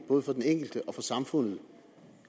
både for den enkelte og for samfundet